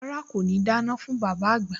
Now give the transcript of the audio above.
Rárá, kò ní dáná fún bàbá àgbà